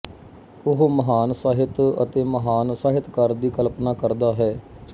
ਉਹ ਮਹਾਨ ਸਾਹਿਤ ਅਤੇ ਮਹਾਨ ਸਾਹਿਤਕਾਰ ਦੀ ਕਲਪਨਾ ਕਰਦਾ ਹੈ